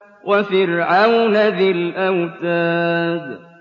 وَفِرْعَوْنَ ذِي الْأَوْتَادِ